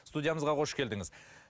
студиямызға қош келдіңіз